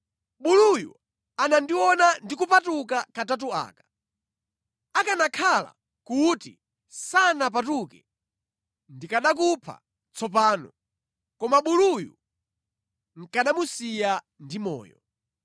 Buluyu anandiona ndi kupatuka katatu aka. Akanakhala kuti sanapatuke, ndikanakupha tsopano, koma buluyu nʼkanamusiya ndi moyo.”